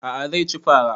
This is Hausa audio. A'a zai ci fara